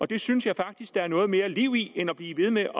det synes jeg faktisk der er noget mere liv i end at blive ved med